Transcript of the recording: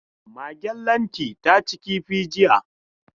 Magen Lanti ta ci kifi jiya.